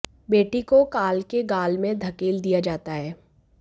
बेटी को काल के गाल में धकेल दिया जाता है